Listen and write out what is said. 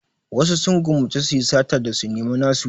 Wasu sun gwammace su yi sata da su nemi nasu.